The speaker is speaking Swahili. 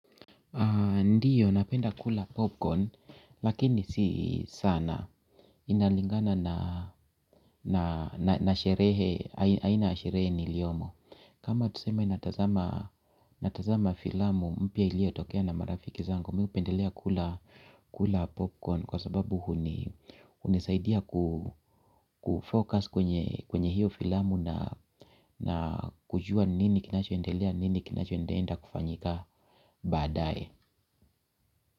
Ndiyo napenda kula popcorn lakini si saana inalingana na sherehe niliyomo. Kama tuseme natazama filamu mpya iliyotokea na marafiki zangu Mi hupendelea kula popcorn kwa sababu huni hunisaidia kufocus kwenye hiyo filamu na kujua nini kinachoendelea nini kinachoendaenda kufanyika baadaye.